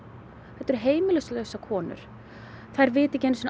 þetta eru heimilislausar konur þær vita ekki einu sinni